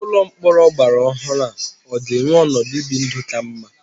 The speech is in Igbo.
Ụlọ mkpọrọ ọgbara ọhụrụ ọ ga-enwe ọnọdụ ibi ndụ ka mma?